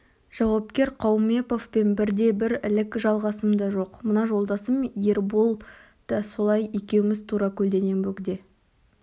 жауапкер қаумеповпен бірде-бір ілік жалғасым да жоқ мына жолдасым ербол да солай екеуміз тура көлденең бөгде